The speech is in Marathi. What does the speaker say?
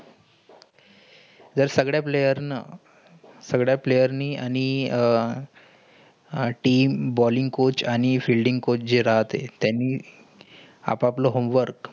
जर सगळे player न सगळे player नि अणि आह team ballingcoach आणि fielding coach जे रातेय. त्यानी आपापलं home work